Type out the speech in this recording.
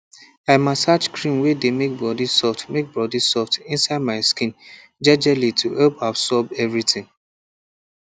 i massage cream way dey make body soft make body soft inside my skin jejely to help absorb everything